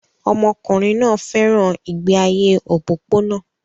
Ọmọkùnrin náà fẹ́ràn ìgbé ayé òpópónà